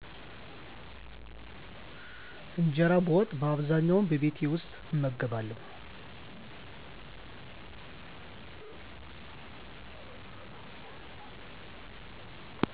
እንጀራ በወጥ በአብዛኛዉ በቤት ዉስጥ እመገባለዉ